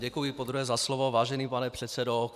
Děkuji podruhé za slovo, vážený pane předsedo.